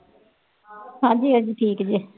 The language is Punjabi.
ਹਾਂਜੀ ਹਾਂਜਿ ਠੀਕ ਜੇ